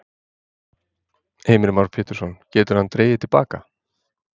Heimir Már Pétursson: Getur hann dregið til baka?